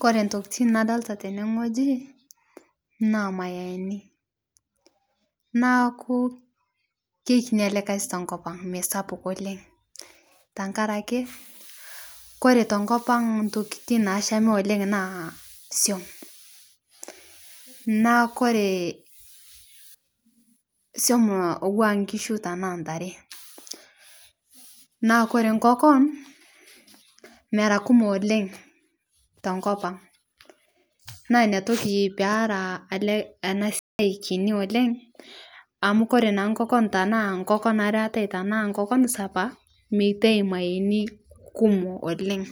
Kore ntokitin nadolita tene ng'oji naa mayainii naaku keikini alee kazii tenkopang' meisapuk oleng' tankarake kore tenkopang' ntokiitin nashami oleng' naa siom naa kore siom atuwaa nkishu tanaa ntaree naa kore nkokon mera kumo oleng' tenkopang' naa inia toki pera ale ana siai kini oleng' amu kore naa nkokon tanaa nkokon aree eatai tanaa nkokon sapaa meitai mayeeni kumo oleng'